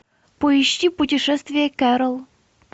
поищи путешествие кэрол